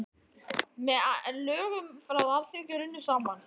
Með lögum frá Alþingi runnu saman